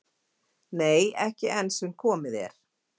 """Nei, ekki enn sem komið er."""